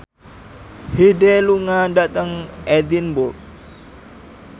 Hyde lunga dhateng Edinburgh